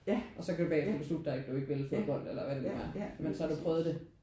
Og så kan du bagefter beslutte dig om du ikke vil fodbold eller hvad det nu er men så har du prøvet det